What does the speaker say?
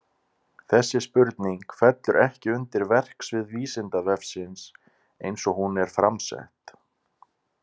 Þessi spurning fellur ekki undir verksvið Vísindavefsins eins og hún er fram sett.